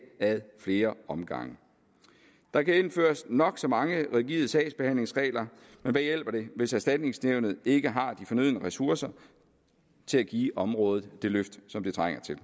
ad flere omgange der kan indføres nok så mange rigide sagsbehandlingsregler men hvad hjælper det hvis erstatningsnævnet ikke har de fornødne ressourcer til at give området det løft som det trænger til